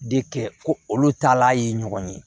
De kɛ ko olu taalan ye ɲɔgɔn ye